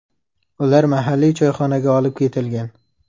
Ular mahalliy choyxonaga olib ketilgan.